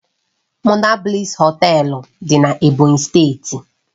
Monabliss Họtelu dị na Ebonyi steeti